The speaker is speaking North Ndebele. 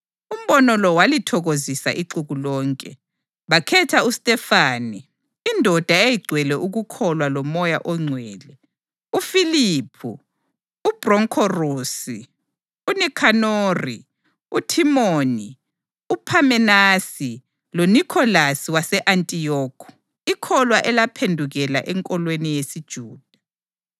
Umbono lo walithokozisa ixuku lonke. Bakhetha uStefane, indoda eyayigcwele ukukholwa loMoya oNgcwele; uFiliphu, uPhrokhorusi, uNikhanori, uThimoni, uPhamenasi loNikholasi wase-Antiyokhi, ikholwa elaphendukela enkolweni yesiJuda.